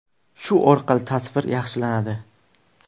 Shu orqali tasvir yaxshilanadi.